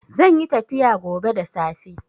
Zanyi tafiya gobe da safe